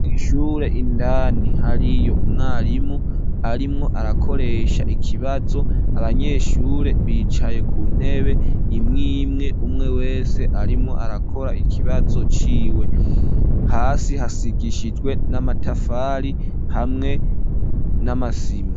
Ishure indani hariyo umwarimu arimwo arakoresha ikibazo, abanyeshure bicaye ku ntebe imwimwe umwe wese arimwo arakora ikibazo ciwe, hasi hasigishijwe n'amatafari hamwe n'amasima.